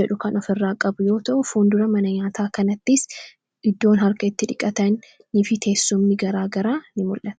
jedhu kan of irraa qabu yoo ta'u foundura mana nyaataa kanattis iddoon harka itti dhiqatan ni fiteessumni garaagara in mul'aa